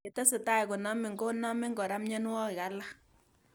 Ye tesetai konamin ko namin kora mianwog'ik alak